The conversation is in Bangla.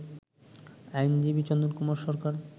আইনজীবী চন্দন কুমার সরকার